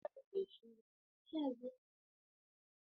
Rashin hasara: Mai saurin lalacewa; na iya zama matsala ga manyan ma'amaloli.